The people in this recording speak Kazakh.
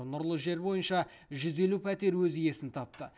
нұрлы жер бойынша жүз елу пәтер өз иесін тапты